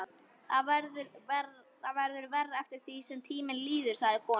Það verður verra eftir því sem tíminn líður, sagði konan.